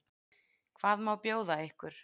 Hvað má bjóða ykkur?